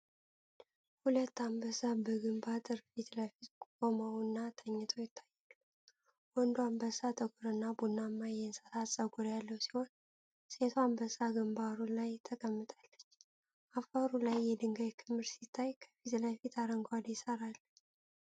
ሁለት አንበሳ በግንብ አጥር ፊት ለፊት ቆመውና ተኝተው ይታያሉ። ወንዱ አንበሳ ጥቁር እና ቡናማ የእንስሳ ጸጉር ያለው ሲሆን፤ ሴቷ አንበሳ ግንባሩ ላይ ተቀምጣለች። አፈሩ ላይ የድንጋይ ክምር ሲታይ፤ ከፊት ለፊት አረንጓዴ ሣር አለ።